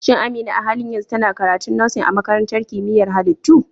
Shin Amina a halin yanzu tana karatun Nursing a Makarantar Kimiyyar Halittu?